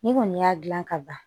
N'i kɔni y'a gilan ka ban